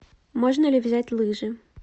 можно ли взять лыжи